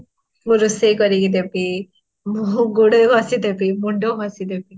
ମୁଁ ରୋଷେଇ କରିକି ଦେବୀ ମୁଁ ଗୋଡ଼ ଘଷି ଦେବୀ ମୁଣ୍ଡ ଘଷି ଦେବୀ